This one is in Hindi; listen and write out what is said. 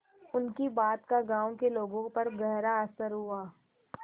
उनकी बात का गांव के लोगों पर गहरा असर हुआ